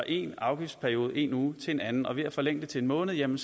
en afgiftsperiode en uge til en anden og ved at forlænge det til en måned jamen